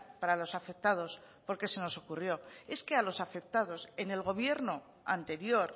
para los afectados porque se nos ocurrió es que a los afectados en el gobierno anterior